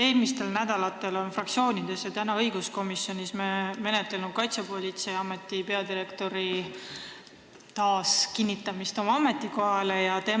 Eelmistel nädalatel menetleti fraktsioonides ja täna me menetlesime õiguskomisjonis Kaitsepolitseiameti peadirektori taas oma ametikohale kinnitamist.